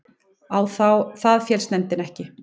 Á það féllst nefndin ekki